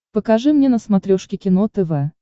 покажи мне на смотрешке кино тв